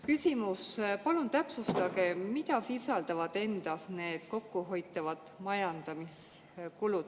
Küsimus: palun täpsustage, mida sisaldavad endas need kokku hoitavad majandamiskulud.